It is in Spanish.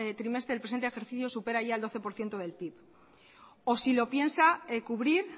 trimestre del presente ejercicio supera ya el doce por ciento del pib o si lo piensa cubrir